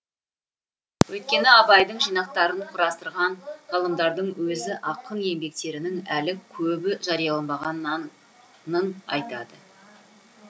өйткені абайдың жинақтарын құрастырған ғалымдардың өзі ақын еңбектерінің әлі көбі жарияланбағанын айтады